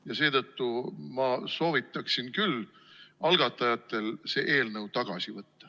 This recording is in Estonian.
Ja seetõttu ma soovitaksin küll algatajatel see eelnõu tagasi võtta.